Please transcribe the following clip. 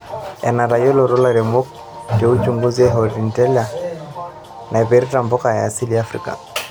Enatayiolito lairemok te uchunguzi e HORTINLEA naipirta mpuka e asili e Afrika.